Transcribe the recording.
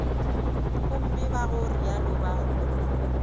gomme ka go realo ba